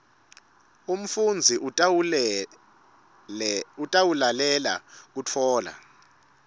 umfundzi utawulalela kutfola